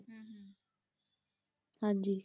ਹਾਂਜੀ।